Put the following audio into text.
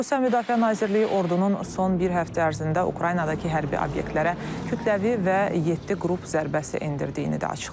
Rusiya Müdafiə Nazirliyi ordunun son bir həftə ərzində Ukraynadakı hərbi obyektlərə kütləvi və yeddi qrup zərbəsi endirdiyini də açıqlayıb.